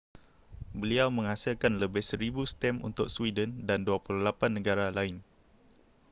beliau menghasilkan lebih 1,000 stem untuk sweden dan 28 negara lain